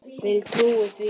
Vil trúa því.